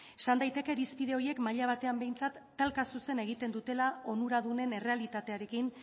izan daiteke irizpide horiek maila batean behintzat talka zuzena egiten dutela onuradunen errealitatearekin